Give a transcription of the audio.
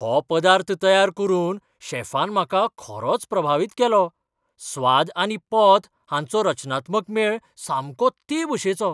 हो पदार्थ तयार करून शेफान म्हाका खरोच प्रभावीत केलो, स्वाद आनी पोत हांचो रचनात्मक मेळ सामको ते भशेचो.